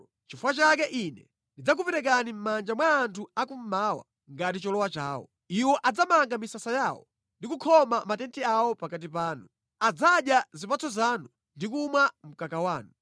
Nʼchifukwa chake Ine ndidzakuperekani mʼmanja mwa anthu akummawa ngati cholowa chawo. Iwo adzamanga misasa yawo ndi kukhoma matenti awo pakati panu. Adzadya zipatso zanu ndi kumwa mkaka wanu.